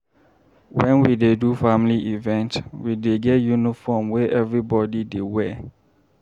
Wen we dey do family event, we dey get uniform wey everybodi dey wear.